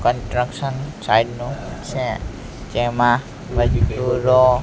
construction site નું છે તેમાં મજદુરો--